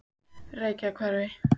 Reykjahverfi